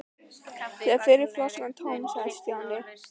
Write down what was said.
Þegar fyrri flaskan var tóm sagði Stjáni